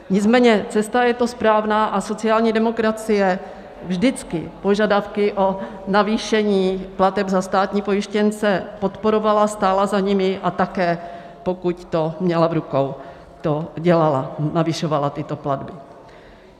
Nicméně cesta je to správná a sociální demokracie vždycky požadavky na navýšení plateb za státní pojištěnce podporovala, stála za nimi, a také, pokud to měla v rukou, to dělala, navyšovala tyto platby.